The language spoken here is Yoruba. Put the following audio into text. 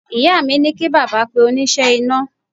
Ìyá mi ní kí bàbá pe oníṣẹ́ iná